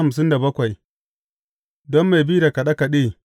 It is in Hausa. Don mai bi da kaɗe kaɗe.